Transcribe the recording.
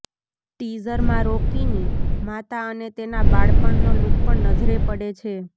ટીઝરમાં રોકીની માતા અને તેના બાળપણનો લૂક પણ નજરે પડે છે